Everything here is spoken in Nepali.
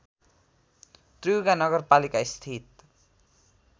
त्रियुगा नगरपालिका स्थित